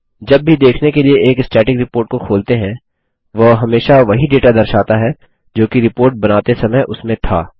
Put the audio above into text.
जब भी देखने के लिए एक स्टैटिक रिपोर्ट को खोलते हैं वह हमेशा वही डेटा दर्शाता है जोकि रिपोर्ट बनाते समय उसमें था